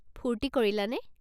ফূৰ্তি কৰিলানে?